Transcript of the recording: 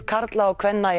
karla og kvenna í